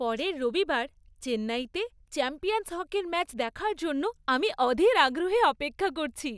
পরের রবিবার চেন্নাইতে চ্যাম্পিয়ন্স হকির ম্যাচ দেখার জন্য আমি অধীর আগ্রহে অপেক্ষা করছি।